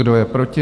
Kdo je proti?